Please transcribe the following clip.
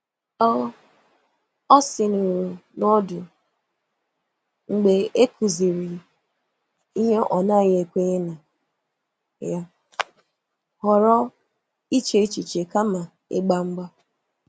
Ọ sìnuru n’ọdụ mgbe e kụziri ihe ọ̀ naghị ekwenye na ya, họrọ iche echiche kama ịgba mgba.